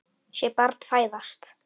Sé barn fæðast.